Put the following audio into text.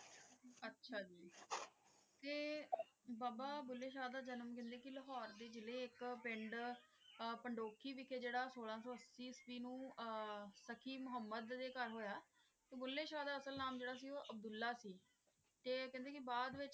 ਬਾਬਾ ਭੂਲੇ ਸ਼ਾਹ ਦਾ ਜਨਮ ਜਿਵੇਂ ਕੀ ਲਾਹੋਰੇ ਦੇ ਜ਼ਿਲੇ ਏਇਕ ਪਿੰਡ ਪੰਦੋਖੀ ਵਿਚ ਜੇਰਾ ਸੋਲਾਂ ਸੂ ਏਆਸ੍ਵੀ ਨੂ ਜੇਰਾ ਤਾਕ਼ੀ ਮੁਹਮ੍ਮਦ ਦੇ ਘਰ ਹੋਯਾ ਭੂਲੇ ਸ਼ਾਹ ਦਾ ਅਸਲ ਨਾਮ ਜੇਰਾ ਸੀ ਊ ਅਬ੍ਦੁਲ੍ਲਾਹ ਸੀ ਤੇ ਊ ਕੇਹ੍ਨ੍ਡੇ ਕੀ ਬਾਅਦ ਵਿਚ